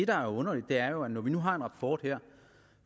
der er underligt er jo at vi nu har en rapport her